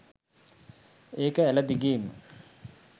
ඒක ඇළ දිගේම